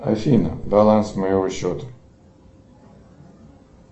афина баланс моего счета